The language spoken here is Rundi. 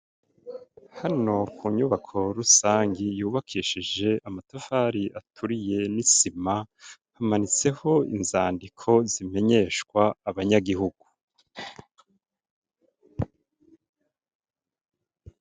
Hano ku nyubako rusangi yubakishije amatafari aturiye n'isima hamanitseho inzandiko zimenyeshwa abanyagihugu.